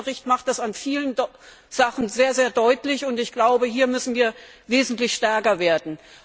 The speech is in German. Deren Bericht macht dies an vielen Punkten sehr, sehr deutlich, und ich glaube, hier müssen wir wesentlich stärker werden.